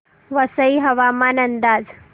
वसई हवामान अंदाज